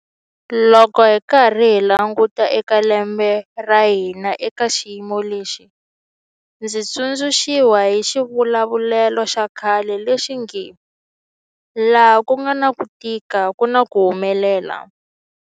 Loko hi karhi hi languta eka lembe ra hina eka xiyimo lexi, ndzi tsundzuxiwa hi xivulavulelo xa khale lexi nge 'laha ku nga na ku tika ku na ku humelela'.